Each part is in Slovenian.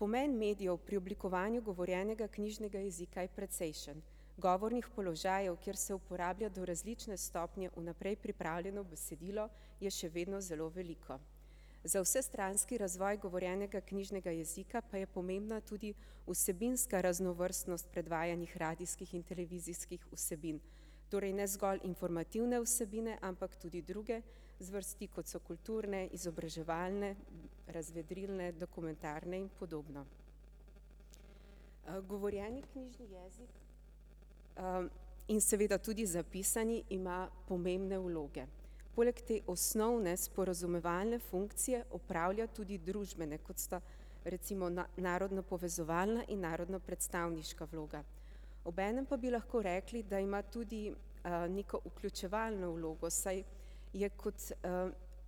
Pomen medijev pri oblikovanju govorjenega knjižnega jezika je precejšen. Govornih položajev, kjer se uporablja, do različne stopnje vnaprej pripravljeno besedilo, je še vedno zelo veliko. Za vsestranski razvoj govorjenega knjižnega jezika pa je pomembna tudi vsebinska raznovrstnost predvajanih radijskih in televizijskih vsebin. Torej ne zgolj informativne vsebine, ampak tudi druge zvrsti, kot so kulturne, izobraževalne, razvedrilne, dokumentarne in podobno. Govorjeni knjižni jezik in seveda tudi zapisani ima pomembne vloge. Poleg te osnovne, sporazumevalne funkcije opravlja tudi družbene, kot sta recimo narodnopovezovalna in narodnopredstavniška vloga. Obenem pa bi lahko rekli, da ima tudi neko vključevalno vlogo, saj je kot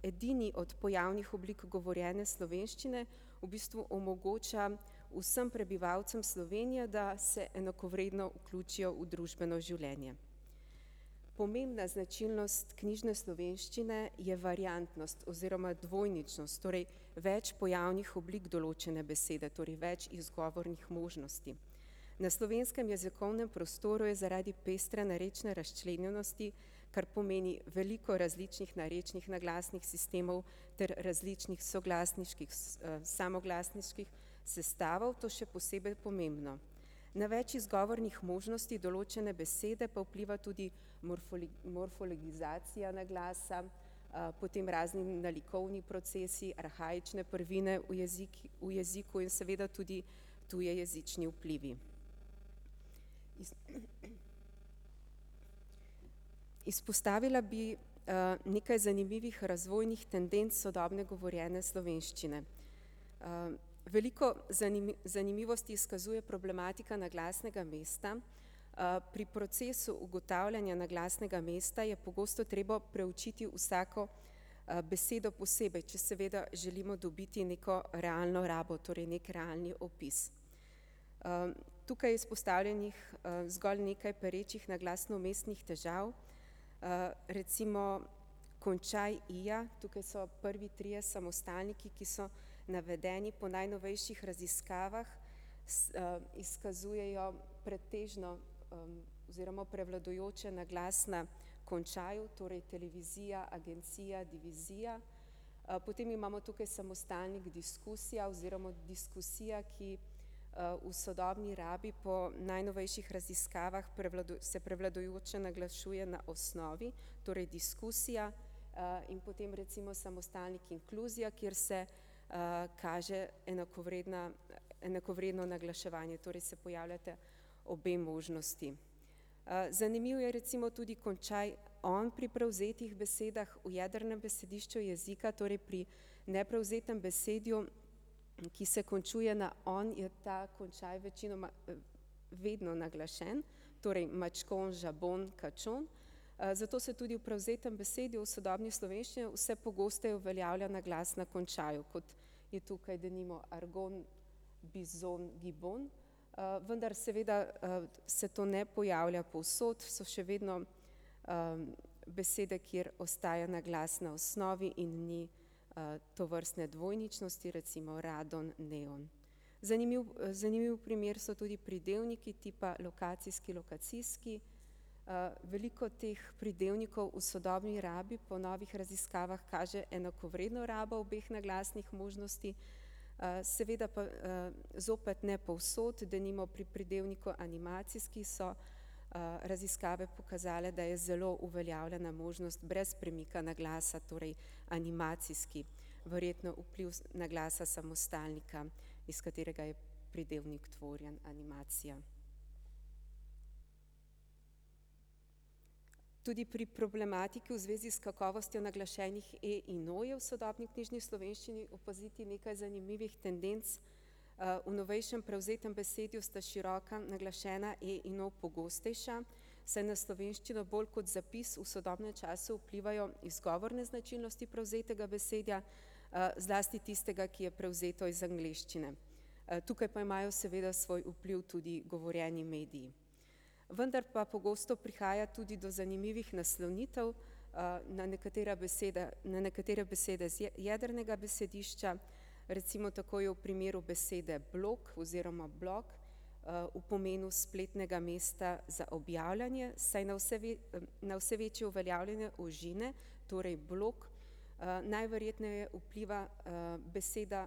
edini od pojavnih oblik govorjene slovenščine v bistvu omogoča vsem prebivalcem Slovenije, da se enakovredno vključijo v družbeno življenje. Pomembna značilnost knjižne slovenščine je variantnost oziroma dvojničnost, torej več pojavnih oblik določene besede, torej več izgovornih možnosti. Na slovenskem jezikovnem prostoru je zaradi pestre narečne razčlenjenosti, kar pomeni veliko različnih narečnih naglasnih sistemov ter različnih soglasniških, samoglasniških sestavov, to še posebej pomembno. Na več izgovornih možnosti določene besede pa vpliva tudi morfologizacija naglasa, potem razni nalikovni procesi, arhaične prvine v v jeziku in seveda tudi tujejezični vplivi. Izpostavila bi nekaj zanimivih razvojnih tendenc sodobne govorjene slovenščine. Veliko zanimivosti izkazuje problematika naglasnega mesta, pri procesu ugotavljanja naglasnega mesta je pogosto treba preučiti vsako besedo posebej, če seveda želimo dobiti neko realno rabo, torej neki realni opis. Tukaj je izpostavljenih zgolj nekaj perečih naglasnomestnih težav, recimo končaj -ija, tukaj so prvi trije samostalniki, ki so navedeni po najnovejših raziskavah, izkazujejo pretežno oziroma prevladujoče naglas na končaju, torej televizija, agencija, divizija. Potem imamo tukaj samostalnik diskusija oziroma diskusija, ki v sodobni rabi po najnovejših raziskavah se prevladujoče naglašuje na osnovi, torej diskusija. In potem recimo samostalnik inkluzija, kjer se kaže enakovredna, enakovredno naglaševanje, torej se pojavljata obe možnosti. Zanimivo je recimo tudi končaj -on pri prevzetih besedah, v jedrnem besedišču jezika, torej pri neprevzetem besedju, ki se končuje na -on, je ta končaj večinoma vedno naglašen, torej mačkon, žabon, kačon. Zato se tudi v prevzetem besedju v sodobni slovenščini vse pogosteje uveljavlja naglas na končaju, kot je tukaj denimo argon, bizon, gibon. Vendar seveda se to ne pojavlja povsod, so še vedno besede, kjer ostaja naglas na osnovi in ni tovrstne dvojničnosti, recimo radon, neon. Zanimiv, zanimiv primer so tudi pridevniki tipa lokacijski lokacijski, veliko teh pridevnikov v sodobni rabi pa v novi raziskavi kaže enakovredno rabo obeh naglasnih možnosti, seveda pa zopet ne povsod, denimo pri pridevniku animacijski so raziskave pokazale, da je zelo uveljavljena možnost brez premika naglasa, torej animacijski. Verjetno vpliv naglasa samostalnika, iz katerega je pridevnik tvorjen - animacija. Tudi pri problematiki v zvezi s kakovostjo naglašenih e- in o-jev v sodobni knjižni slovenščini opaziti nekaj zanimivih tendenc. V novejšem prevzetem besedju sta široka naglašena e in o pogostejša, saj na slovenščino bolj kot zapis v sodobnem času vplivajo izgovorne značilnosti prevzetega besedja, zlasti tistega, ki je prevzeto iz angleščine. Tukaj pa imajo seveda svoj vpliv tudi govorjeni mediji. Vendar pa pogosto prihaja tudi do zanimivih naslonitev. Na nekatera beseda, na nekatere besede z jedrnega besedišča, recimo tako je v primeru besede blog oz. blog v pomenu spletnega mesta za objavljanje, saj na vse na vse večje uveljavljanje ožine, torej blog, najverjetneje vpliva beseda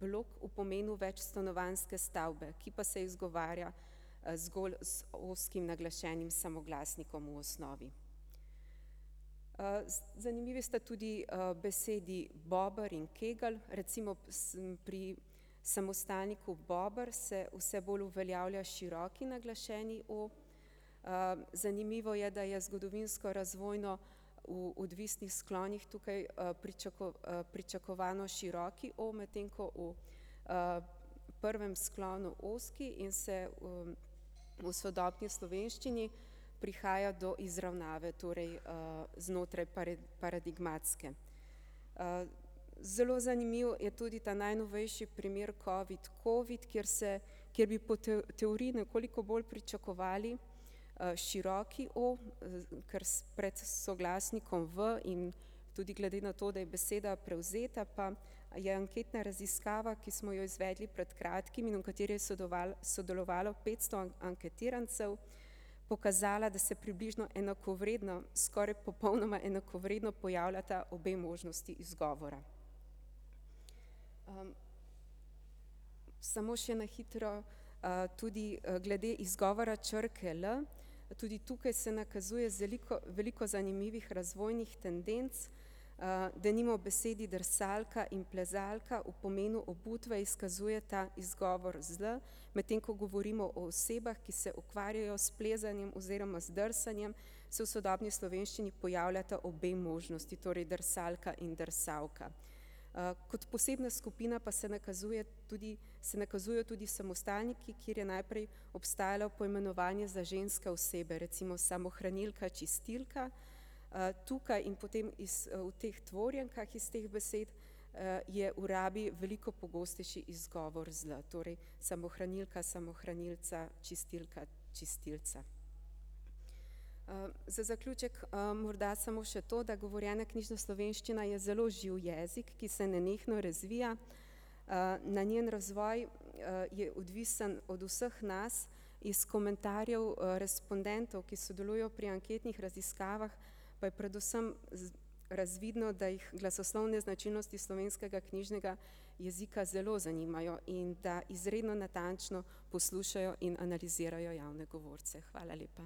blok v pomenu večstanovanjske stavbe, ki pa se izgovarja zgolj z ozkim naglašenim samoglasnikom v osnovi. zanimivi sta tudi besedi bober in kegelj, recimo pri samostalniku bober se vse bolj uveljavlja široki naglašeni o, zanimivo je, da je zgodovinsko razvojno v odvisnih sklonih tukaj pričakovano široki o, medtem ko v prvem sklonu ozki, in se v sodobni slovenščini prihaja do izravnave, torej znotraj paradigmatske. Zelo zanimivo je tudi ta najnovejši primer covid covid, kjer se, kjer bi po teoriji nekoliko bolj pričakovali široki o, ker pred soglasnikom v in tudi glede na to, da je beseda prevzeta, pa je anketna raziskava, ki smo jo izvedli pred kratkim in v kateri je sodelovalo petsto anketirancev, pokazala, da se približno enakovredno, skoraj popolnoma enakovredno pojavljata obe možnosti izgovora. Samo še na hitro tudi glede izgovora črke l. Tudi tukaj se nakazuje zeliko veliko zanimivih razvojnih tendenc. Denimo besedi drsalka in plezalka v pomenu obutve izkazujeta izgovor z l, medtem ko govorimo o osebah, ki se ukvarjajo s plezanjem oziroma z drsanjem, se v sodobni slovenščini pojavljata obe možnosti, torej drsalka in drsauka. Kot posebna skupina pa se nakazuje tudi, se nakazujejo tudi samostalniki, kjer je najprej obstajalo poimenovanje za ženske osebe, recimo samohranilka, čistilka. Tukaj in potem iz v teh tvorjenkah iz teh besed je v rabi veliko pogostejši izgovor z l, torej samohranilka, samohranilca, čistilka, čistilca. Za zaključek morda samo še to, da govorjena knjižna slovenščina je zelo živ jezik, ki se nenehno razvija, na njen razvoj je odvisno od vseh nas, iz komentarjev respondentov, ki sodelujejo pri anketnih raziskavah, pa je predvsem razvidno, da jih glasoslovne značilnosti slovenskega knjižnega jezika zelo zanimajo in da izredno natančno poslušajo in analizirajo javne govorce, hvala lepa.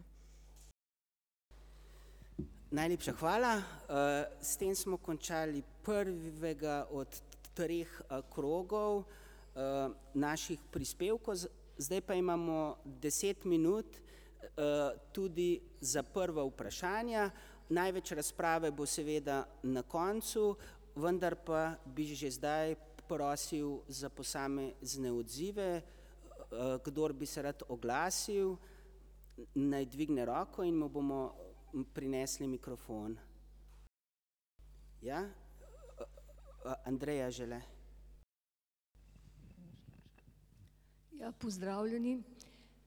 Najlepša hvala. S tem smo končali prvega od treh krogov naših prispevkov, zdaj pa imamo deset minut tudi za prva vprašanja. Največ razprave bo seveda na koncu, vendar pa bi že zdaj prosil za posamezne odzive, kdor bi se rad oglasili, naj dvigne roko in mu bomo prinesli mikrofon. Ja. [ime in priimek] Ja, pozdravljeni.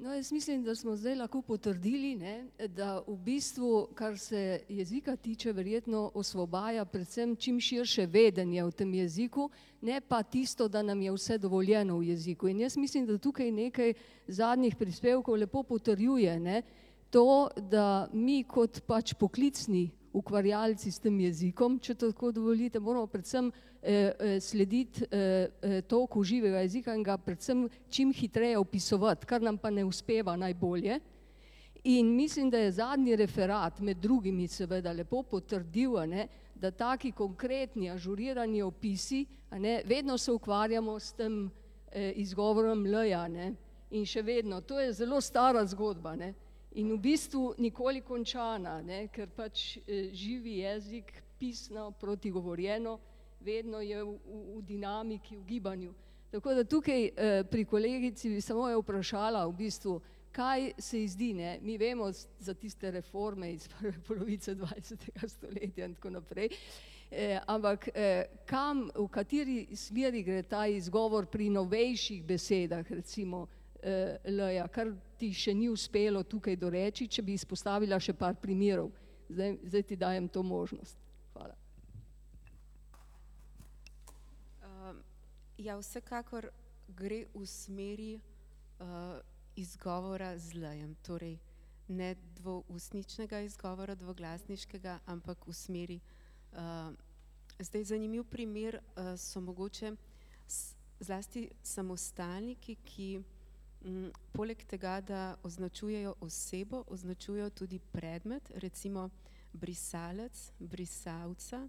No, jaz mislim, da smo zdaj lahko potrdili, ne, da v bistvu, kar se jezika tiče, verjetno osvobaja predvsem čim širše vedenje o tem jeziku, ne pa tisto, da nam je vse dovoljeno v jeziku, in jaz mislim, da tukaj nekaj zadnjih prispevkov lepo potrjuje, ne. To, da mi kot pač poklicni ukvarjalci s tem jezikom, če tako dovolite, moramo predvsem slediti toku živega jezika in ga predvsem čim hitreje opisovati, kar nam pa ne uspeva najbolje. In mislim, da je zadnji referat, med drugimi seveda, lepo potrdil, a ne, da taki konkretni, ažurirani opisi, a ne, vedno se ukvarjamo s tem, izgovorom l-ja, a ne in še vedno, to je zelo stara zgodba, ne, in v bistvu nikoli končana, ne, ker pač živi jezik, pisno proti govorjeno, vedno je v dinamiki, v gibanju. Tako da tukaj pri kolegici bi samo jo vprašala v bistvu, kaj se je zdi, ne, mi vemo za tiste reforme iz prve polovice dvajsetega stoletja in tako naprej, ampak kam, v kateri smeri gre ta izgovor pri novejših besedah, recimo l-ja, kar ti še ni uspelo tukaj doreči, če bi izpostavila še par primerov. Zdaj, zdaj ti dajem to možnost, hvala. Ja, vsekakor gre v smeri izgovora z l-jem, torej ne dvoustničnega izgovora dvoglasniškega, ampak v smeri. Zdaj zanimiv primer so mogoče zlasti samostalniki, ki poleg tega, da označujejo osebo, označujejo tudi predmet, recimo brisalec brisalca.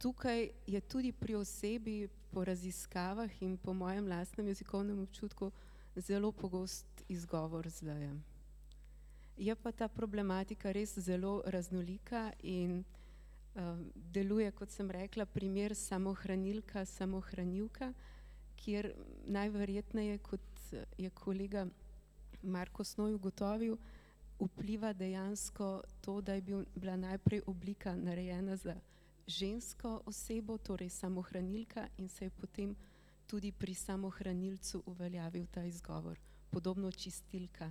Tukaj je tudi pri osebi po raziskavah in po mojem lastnem jezikovnem občutku zelo pogost izgovor z l-jem. Je pa ta problematika res zelo raznolika in deluje, kot sem rekla, primer samohranilka, samohraniuka, kjer najverjetneje, kot je kolega [ime in priimek] ugotovil, vpliva dejansko to, da je bil, bila najprej oblika narejena za žensko osebo, torej samohranilka in se je potem tudi pri samohranilcu uveljavil ta izgovor, podobno čistilka,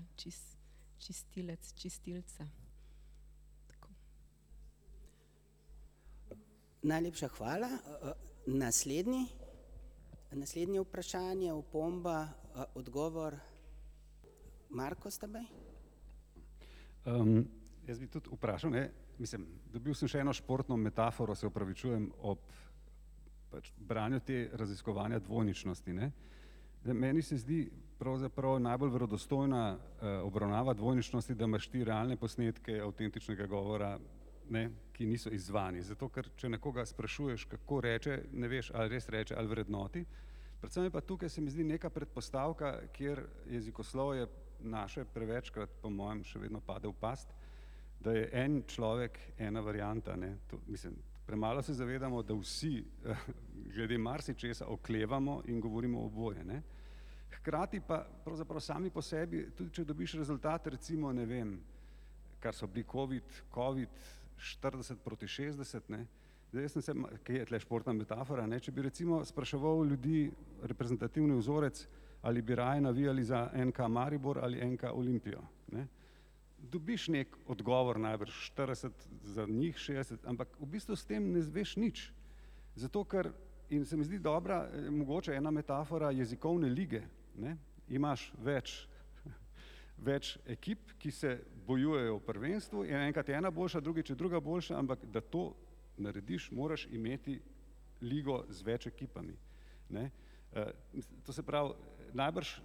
čistilec, čistilca. Najlepša hvala. Naslednji, naslednje vprašanje, opomba odgovor, [ime in priimek]. Jaz bi tudi vprašal, ne, mislim, dobil sem še eno športno metaforo, se opravičujem ob pač branju te raziskovanja dvojničnosti, ne. Meni se zdi, pravzaprav je najbolj verodostojna obravnava dvojničnosti, da imaš ti realne posnetke avtentičnega govora, ne, ki niso izzvani, zato ker če nekoga sprašuješ, kako reče, ne veš ali res reče ali vrednoti. Predvsem je pa tukaj, se mi zdi, neka predpostavka, kjer jezikoslovje naše prevečkrat, po mojem, še vedno pade v past, da je en človek ena varianta, ne, to mislim, premalo se zavedamo, da vsi glede marsičesa oklevamo in govorimo oboje, ne. Hkrati pa pravzaprav sami po sebi, tudi če dobiš rezultat, recimo, ne vem, kar so bili covid covid štirideset proti šestdeset, ne, zdaj jaz ,kje je tule športna metafora, ne, če bi recimo spraševal ljudi reprezentativni vzorec, ali bi raje navijali za NK Maribor ali NK Olimpijo, ne. Dobiš neki odgovor najbrž, štirideset za njih, šestdeset, ampak v bistvu s tem ne izveš nič. Zato ker ... in se mi zdi dobra, mogoča ena metafora jezikovne lige, ne, imaš več, več ekip, ki se bojujejo v prvenstvu in enkrat je ena boljša, drugič je druga boljša, ampak da to narediš, moraš imeti ligo z več ekipami, ne. To se pravi, najbrž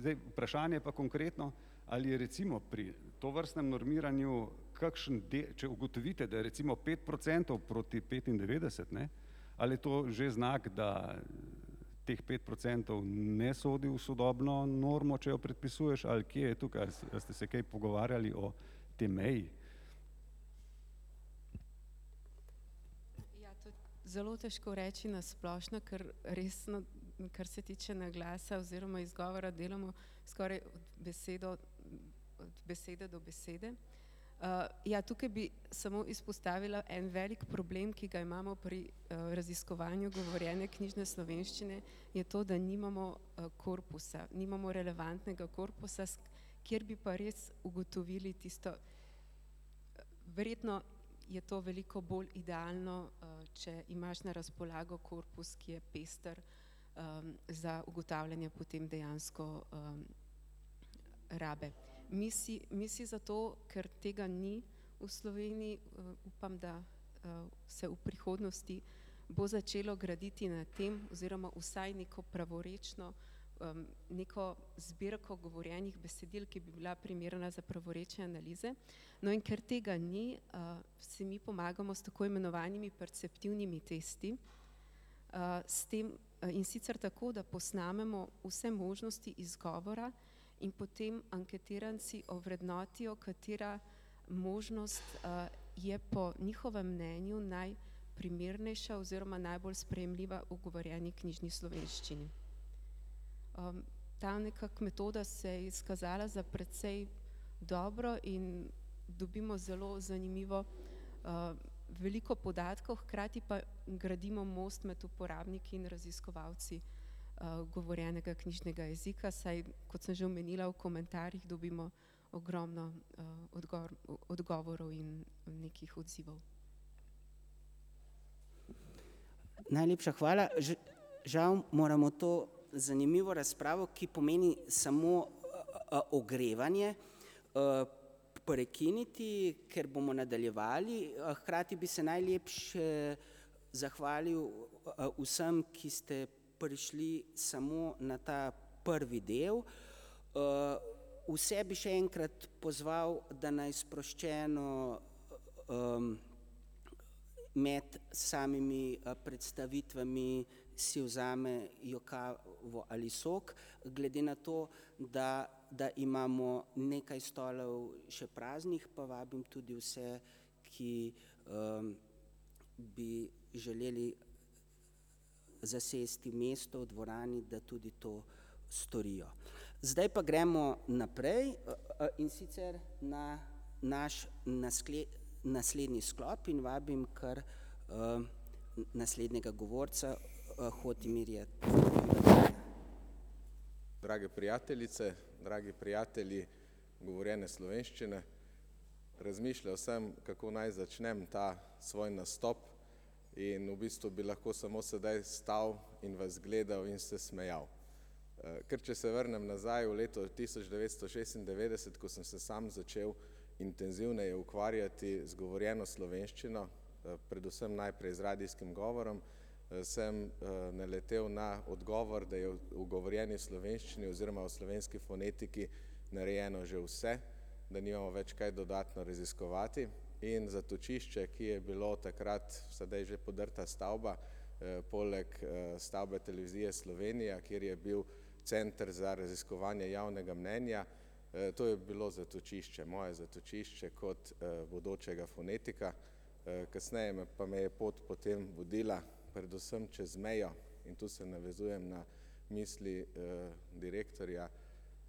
zdaj vprašanje je pa konkretno, ali je recimo pri tovrstnem normiranju kakšen če ugotovite, da recimo pet procentov proti petindevetdeset, ne, ali je to že znak, da teh pet procentov ne sodi v sodobno normo, če jo predpisuješ, ali kje je tukaj, a ste se kaj pogovarjali o tej meji? Zelo težko reči na splošno, ker resno, kar se tiče naglasa, oziroma izgovora, delamo skoraj besedo od besede do besede. Ja, tukaj bi samo izpostavila en velik problem, ki ga imamo pri raziskovanju govorjene knjižne slovenščine, je to, da nimamo korpusa, nimamo relevantnega korpusa, kjer bi pa res ugotovili tisto. Verjetno je to veliko bolj idealno, če imaš na razpolago korpus, ki je pester za ugotavljanje potem dejansko rabe. Mi si, mi si zato, ker tega ni v Sloveniji, upam, da se v prihodnosti bo začelo graditi na tem, oziroma vsaj neko pravorečno, neko zbirko govorjenih besedil, ki bi bila primerna za pravorečne analize. No, in ker tega ni, si mi pomagamo s tako imenovanimi perceptivnimi testi, s tem, in sicer tako, da posnamemo vse možnosti izgovora in potem anketiranci ovrednotijo, katera možnost je po njihovem mnenju naj primernejša oziroma najbolj sprejemljiva v govorjeni knjižni slovenščini. Ta nekako metoda se je izkazala za precej dobro in dobimo zelo zanimivo veliko podatkov, hkrati pa gradimo most med uporabniki in raziskovalci govorjenega knjižnega jezika, saj, kot sem že omenila, v komentarjih dobimo ogromno odgovorov in nekih odzivov. Najlepša hvala, žal moramo to zanimivo razpravo, ki pomeni samo ogrevanje, prekiniti, ker bomo nadaljevali hkrati bi se najlepše zahvalil vsem, ki ste prišli samo na ta prvi del. Vse bi še enkrat pozval, da naj sproščeno med samimi predstavitvami si vzamejo kavo ali sok, glede na to, da da imamo nekaj stolov še praznih, pa vabim tudi vse, ki bi želeli zasesti mesto v dvorani, da tudi to storijo. Zdaj pa gremo naprej. In sicer na naš naslednji sklop in vabim kar naslednjega govorca [ime in priimek] Drage prijateljice, dragi prijatelji govorjene slovenščine. Razmišljal sem, kako naj začnem ta svoj nastop. In v bistvu bi lahko samo sedaj stal in vas gledal in se smejal. Ker če se vrnem nazaj v leto tisoč devetsto šestindevetdeset, ko sem se sam začel intenzivneje ukvarjati z govorjeno slovenščino, predvsem najprej z radijskim govorom, sem naletel na odgovor, da je v govorjeni slovenščini oziroma v slovenski fonetiki narejeno že vse, da nimamo več kaj dodatno raziskovati in zatočišče, ki je bilo takrat, sedaj že podrta stavba, poleg stavbe Televizije Slovenija, kjer je bil Center za raziskovanje javnega mnenja. To je bilo zatočišče, moje zatočišče kot bodočega fonetika. Kasneje pa me je pot potem vodila, predvsem čez mejo in tu se navezujem na misli direktorja